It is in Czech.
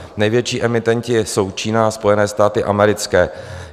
Největší emitenti jsou Čína a Spojené státy americké.